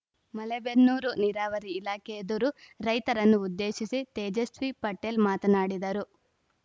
ಮಲೇಬೆನ್ನೂರು ನೀರಾವರಿ ಇಲಾಖೆ ಎದುರು ರೈತರನ್ನು ಉದ್ದೇಶಿಸಿ ತೇಜಸ್ವಿ ಪಟೇಲ್‌ ಮಾತನಾಡಿದರು